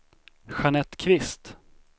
Jeanette Kvist